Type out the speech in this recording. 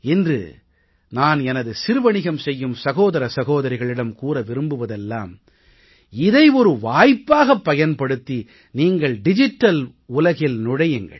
இன்று நான் எனது சிறு வணிகம் செய்யும் சகோதர சகோதரிகளிடம் கூற விரும்புவதெல்லாம் இதை ஒரு வாய்ப்பாகப் பயன்படுத்தி நீங்கள் டிஜிட்டல் உலகில் நுழையுங்கள்